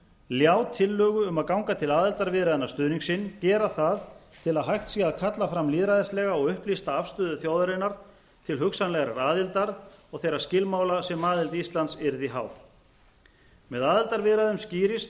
ljá tillögu um að ganga til aðildarviðræðna stuðning sinn gera það til að hægt sé að kalla fram lýðræðislega og upplýsta afstöðu þjóðarinnar til hugsanlegrar aðildar og þeirra skilmála sem aðild íslands yrði háð með aðildarviðræðum skýrist